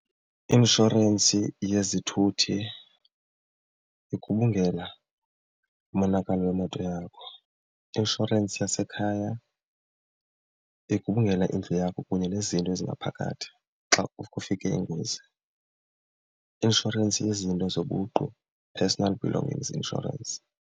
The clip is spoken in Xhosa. I-inshorensi yezithuthi igubungela umonakalo wemoto yakho. I-inshorensi yasekhaya igubungela indlu yakho kunye nezinto ezingaphakathi xa kufike ingozi. I-inshorensi yezinto zobuqu, personal belongings insurance.